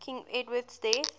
king edward's death